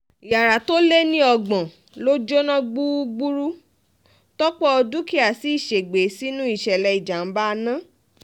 yàrá tó lé ní ọgbọ̀n ló jóná gbúgbúrú tọ́pọ̀ dúkìá sì ṣègbè sínú ìṣẹ̀lẹ̀ ìjàm̀bá náà